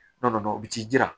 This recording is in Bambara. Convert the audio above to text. N'a nana u t'i jira